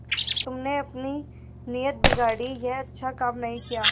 तुमने अपनी नीयत बिगाड़ी यह अच्छा काम नहीं किया